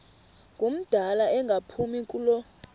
ngumdala engaphumi kulo